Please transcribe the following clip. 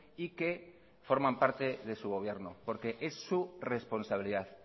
y que forman parte de su gobierno porque es su responsabilidad